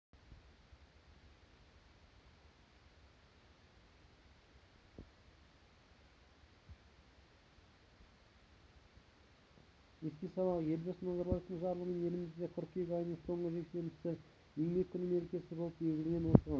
еске салайық елбасы назарбаевтың жарлығымен елімізде қыркүйек айының соңғы жексенбісі еңбек күні мерекесі болып белгіленген осыған